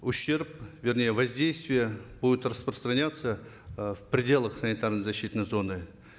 ущерб вернее воздействие будет распространяться э в пределах санитарно защитной зоны